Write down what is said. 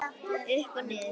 Upp og niður.